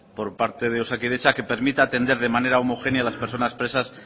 por parte de osakidetza que permita atender de manera homogénea a las personas presas